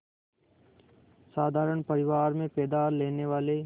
साधारण परिवार में पैदा लेने वाले